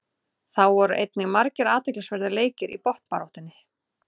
Þá voru einnig margir athyglisverðir leikir í botnbaráttunni.